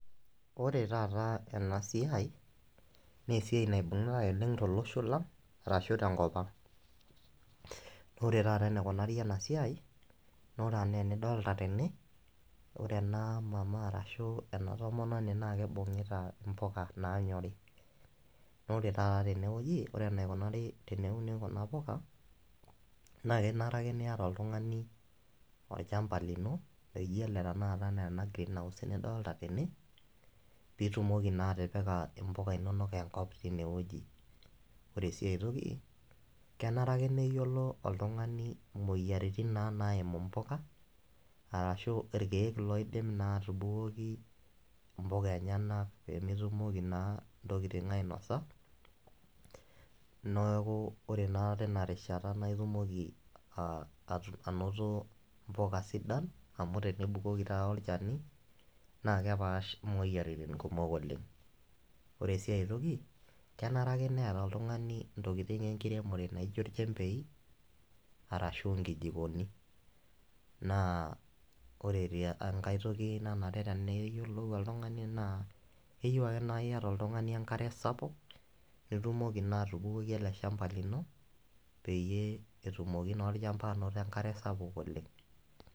Ore taata ena siai naa esiai naibung`ae oleng to losho lang ashu te nkop ang. Naa ore taata enaikunari ena siai naa, ore enaa enidolita tene, ore ena mama ashu ena tomononi naa kibung`ita mbuka naanyori. Naa ore taata tene wueji ore enaikunari teneuni kuna puka naa kenare ake niata oltung`ani olchamba lino laijo ele enaa tenakata ena green house nidolita tene pee itumoki naa atipika mbuka inonok enkop teine wueji. Ore sii ai toki kenare ake neyiolo oltung`ani imoyiaritin naa naimu imbuka arashu ilkiek loidim naa atubukoki mbuka enyenak pee metumoki naa intokitin ainosa. Niaku ore naa tina rishata naa itumoki anoto mbuka sidan amu tenibukoki taata olchani naa kepaash moyiaritin kumok oleng. Ore sii ai toki kenare ake neeta oltung`ani ntokitin enkiremore naijo nchembei arashu nkijikoni. Naa ore sii enkae toki nanare teneyiolou oltung`ani naa keyieu ake naa iyata oltung`ani enkare saapuk nitumoki naa atubukoki ele shamba lino peyie etumoki naa olchamba anoto enkare sapuk oleng.